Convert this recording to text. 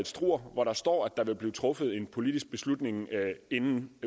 struer hvor der står at der vil blive truffet en politisk beslutning inden